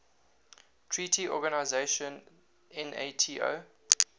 treaty organization nato